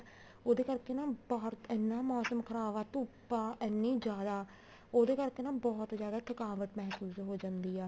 ਉਹਦੇ ਕਰਕੇ ਨਾ ਬਾਹਰ ਇੰਨਾ ਮੋਸਮ ਖਰਾਬ ਆ ਧੁੱਪ ਆ ਇੰਨੀ ਜਿਆਦ ਉਹਦੇ ਕਰਕੇ ਨਾ ਬਹੁਤ ਜਿਆਦਾ ਥਕਾਵਟ ਮਹਿਸੂਸ ਹੋ ਜਾਂਦੀ ਆ